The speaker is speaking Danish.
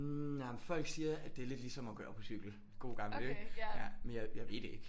Nej men folk siger at det er lidt ligesom at køre på cykel gode gamle ikke ja men jeg ved det ikke